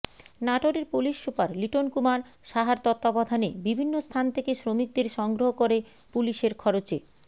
নাটোরের police super Liton Kumar সাহার তত্ত্বাবধানে বিভিন্ন স্থান থেকে শ্রমিকদের সংগ্রহ করে পুলিশের খরচে